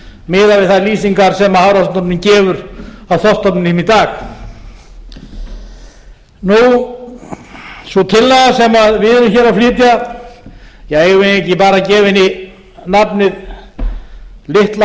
miðað við þær lýsingar sem hafrannsóknastofnun gefur á þorskstofninum í dag sú tillaga sem við erum hér að flytja eigum við ekki bara að gefa henni nafnið litla handfæraveiðifrumvarpið alla